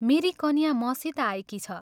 मेरी कन्या मसित आएकी छ।